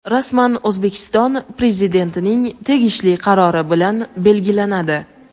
rasman O‘zbekiston Prezidentining tegishli qarori bilan belgilanadi.